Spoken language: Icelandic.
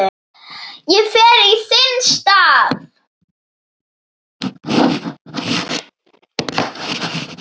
Ég fer í þinn stað